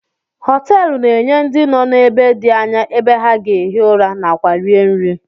Hoteelu na-enye ndị nọ n'ebe dị anya ebe ha ga-ehi ụra na kwa rie nri.